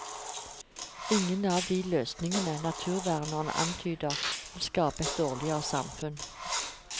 Ingen av de løsninger naturvernerne antyder vil skape et dårligere samfunn.